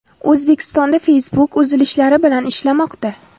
O‘zbekistonda Facebook uzilishlar bilan ishlamoqda.